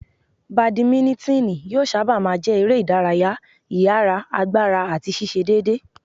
Bàdímínítìnì yóò sábà má a jẹ́ eré ìdárayá ìyára, agbára àti ṣíṣe déédéé.